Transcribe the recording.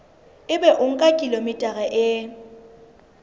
ebe o nka kilograma e